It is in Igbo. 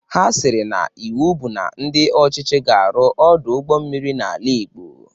Ha siri na iwu bụ na ndị ọchịchị ga-arụ Ọdụ ụgbọ mmiri n'ala igbo